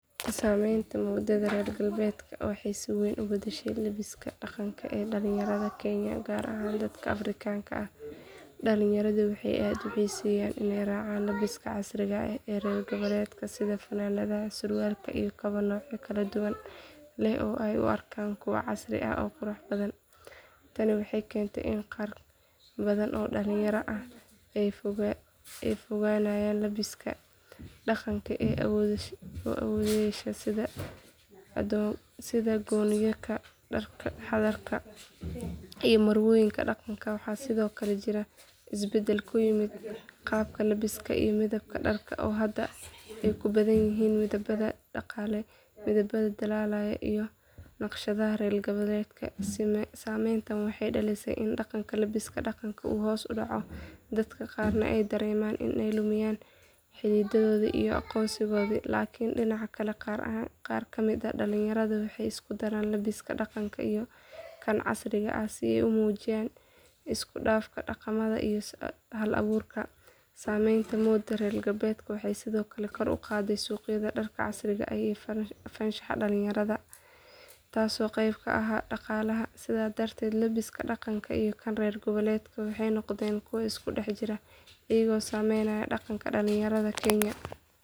Saamaynta moodada reer galbeedka waxay si wayn u beddeshay labbiska dhaqanka ee dhallinyarada Kenya gaar ahaan dadka Afrikaanka ah. Dhallinyaradu waxay aad u xiiseeyaan inay raacaan labbiska casriga ah ee reer galbeedka sida funaanadaha, surwaalka, iyo kabo noocyo kala duwan leh oo ay u arkaan kuwo casri ah oo qurux badan. Tani waxay keentay in qaar badan oo dhallinyarada ah ay ka fogaanayaan labbiska dhaqanka ee awoowayaashood sida goonooyinka, dharka xardhan iyo marwooyinka dhaqanka. Waxaa sidoo kale jira isbeddel ku yimid qaabka labbiska iyo midabka dharka oo hadda ay ku badan yihiin midabada dhalaalaya iyo naqshadaha reer galbeedka. Saamayntani waxay dhalisay in dhaqanka labbiska dhaqanka uu hoos u dhaco, dadka qaarna ay dareemaan inay lumayaan xididadooda iyo aqoonsigooda. Laakiin dhinaca kale, qaar ka mid ah dhallinyaradu waxay isku daraan labbiska dhaqanka iyo kan casriga ah si ay u muujiyaan isku dhafka dhaqamada iyo hal abuurka. Saamaynta moodada reer galbeedka waxay sidoo kale kor u qaaday suuqyada dharka casriga ah iyo farshaxanka dhallinyarada, taasoo qayb ka ah dhaqaalaha. Sidaas darteed labbiska dhaqanka iyo kan reer galbeedka waxay noqdeen kuwo isku dhex jira, iyaga oo saameynaya dhaqanka dhallinyarada Kenya.